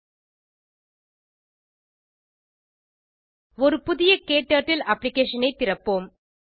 httpspoken tutorialorg ஒரு புதிய க்டர்ட்டில் அப்ளிகேஷன் ஐ திறப்போம்